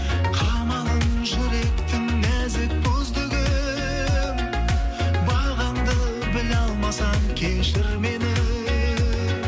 қамалын жүректің нәзік бұзды кім бағаңды біле алмасам кешір мені